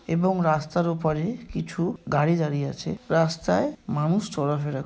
এবং রাস্তার উপারে কিছু গাড়ি দাঁড়িয়ে আছে। রাস্তায় মানুষ চলাফেরা--